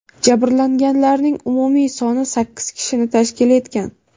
Jabrlanganlarning umumiy soni sakkiz kishini tashkil etgan.